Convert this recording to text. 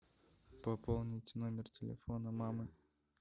пополнить номер телефона мамы